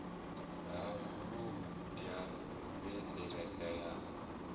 ha mulomo ya fheleledza yo